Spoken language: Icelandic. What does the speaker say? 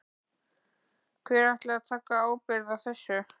Hver ætlar að taka ábyrgð á þessu?